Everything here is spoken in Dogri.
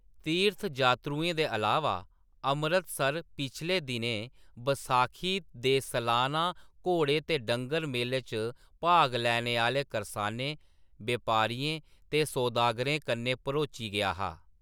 तीर्थजात्तरूएं दे अलावा, अमृतसर पिछले दिनें बसाखी दे सलाना घोड़े ते डंगर मेले च भाग लैने आह्‌‌‌ले करसाने, व्यापारियें ते सौदागरें कन्नै भरोची गेआ हा।